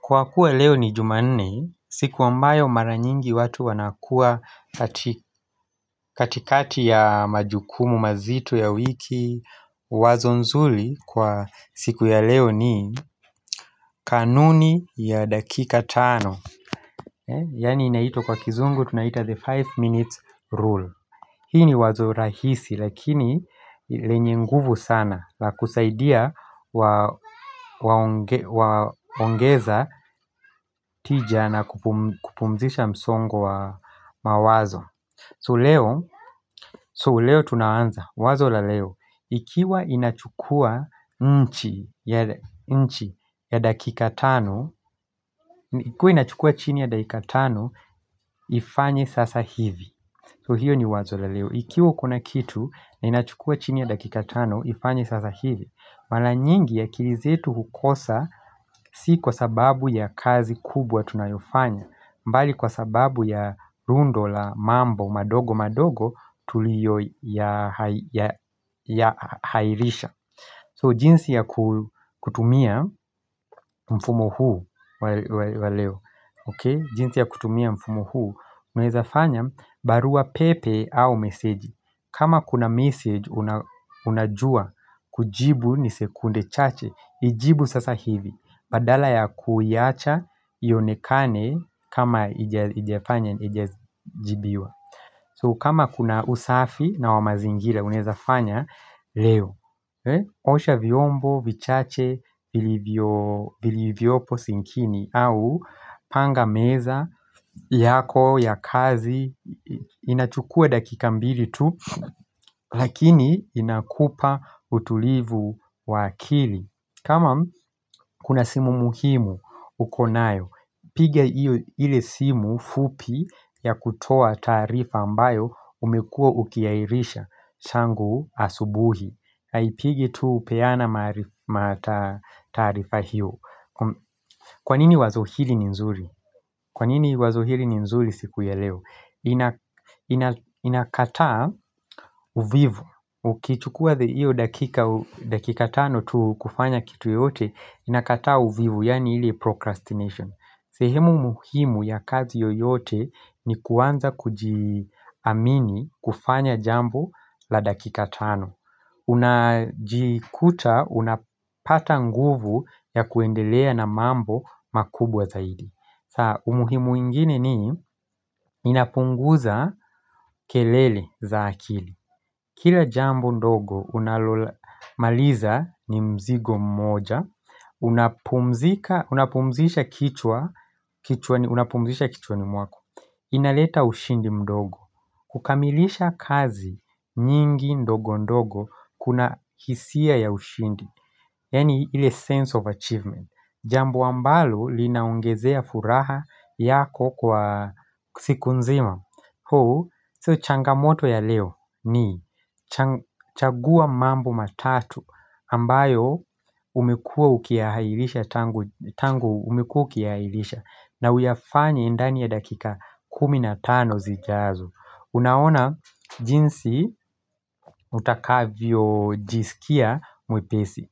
Kwa kuwa leo ni jumanne siku ambayo mara nyingi watu wanakua katikati ya majukumu mazito ya wiki wazo nzuri kwa siku ya leo ni kanuni ya dakika tano Yaani inaitwa kwa kizungu tunaita the five minutes rule Hii ni wazo rahisi lakini lenye nguvu sana la kusaidia waongeza tija na kupumzisha msongo wa mawazo. So leo, so leo tunaanza, wazo la leo, ikiwa inachukua nchi ya dakika tano, kwa inachukua chini ya dakika tano, ifanye sasa hivi. So hiyo ni wazo la leo. Ikiwa kuna kitu na inachukua chini ya dakika tano, ifanye sasa hivi. Mara nyingi akili zetu hukosa si kwa sababu ya kazi kubwa tunayofanya. Bali kwa sababu ya rundo la mambo madogo madogo tulioyahairisha. So jinsi ya kutumia mfumo huu wa leo, okay jinsi ya kutumia mfumo huu Unaezafanya barua pepe au meseji kama kuna mesej unajua kujibu ni sekunde chache Iijibu sasa hivi Badala ya kuyaacha ionekane kama haijafanya jibiwa So kama kuna usafi na wa mazingira unaeza fanya leo Osha vyombo vichache vilivyopo sinkini au panga meza yako ya kazi inachukua dakika mbili tu lakini inakupa utulivu wa akili kama kuna simu muhimu uko nayo, piga iyo ile simu fupi ya kutoa taarifa ambayo umekua ukiahirisha tangu asubuhi Haipigi tu peana mataarifa hiyo Kwanini wazo hili ni nzuri? Kwanini wazo hili ni nzuri siku ya leo? Inakataa uvivu Ukichukua iyo dakika tano tu kufanya kitu yote Inakataa uvivu, yani ile procrastination sehemu muhimu ya kazi yoyote ni kuanza kujiamini kufanya jambo la dakika tano Unajikuta unapata nguvu ya kuendelea na mambo makubwa zaidi sa umuhimu ingine ni inapunguza kelele za akili Kila jambo ndogo unalolimaliza ni mzigo mmoja Unapumzisha kichwa ni mwako Inaleta ushindi mdogo kukamilisha kazi nyingi ndogo ndogo kuna hisia ya ushindi Yaani ile sense of achievement Jambo ambalo linaongezea furaha yako kwa siku nzima So changamoto ya leo ni chagua mambo matatu ambayo umekua ukiyahairisha tangu umekua ukiyahairisha na uyafanya ndani ya dakika kumi na tano zijazo Unaona jinsi utakavyo jisikia mwepesi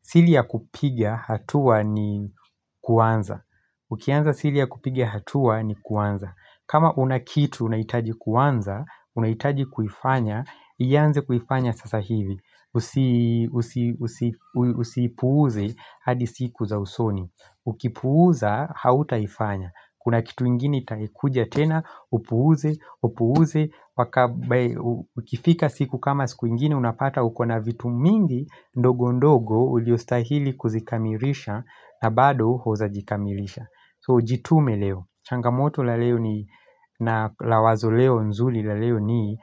siri ya kupigia hatua ni kuanza Ukianza sili ya kupigia hatua ni kuanza kama unakitu unaitaji kuanza unaitaji kufanya ianze kufanya sasa hivi Usipuze hadi siku za usoni Ukipuza hauta ifanya Kuna kitu ingini taikuja tenaupuuze upuuze ukifika siku kama siku ingini unapata ukona vitu mingi ndogo ndogo uliostahili kuzikamilisha na bado hujazikamilisha So ujitume leo Changamoto la leo ni na lawazo leo nzuli la leo ni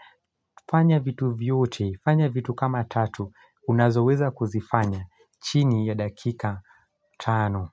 fanya vitu vyote fanya vitu kama tatu unazoweza kuzifanya chini ya dakika tano.